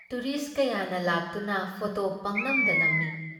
Tourist ꯀꯌꯥꯅ ꯂꯥꯛꯇꯨꯅ photo ꯄꯪꯅꯝꯗ ꯅꯝꯃꯤ ꯫